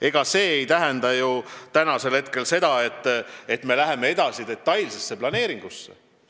Ega see ei tähenda ju veel seda, et me läheme detailse planeeringuga edasi.